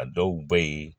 A dɔw bɛ yen